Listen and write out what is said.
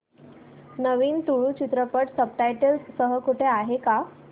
नवीन तुळू चित्रपट subtitles सह कुठे आहे का